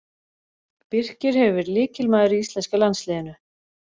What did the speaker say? Birkir hefur verið lykilmaður í íslenska landsliðinu.